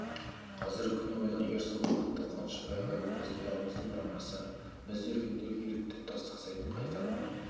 қазіргі күні ойланамын егер сол уақытта қуанышбай ағай біздің құлағымызды бұрамаса біз де үлкендерге еліктеп тастақсайдан қайтар ма